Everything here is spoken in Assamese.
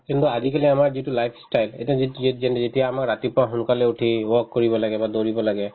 কিন্তু আজিকালি আমাৰ যিটো life style এইটো যেতিয়া আমাৰ ৰাতিপুৱা সোনকালে উঠি walk কৰিব লাগে বা দৌৰিব লাগে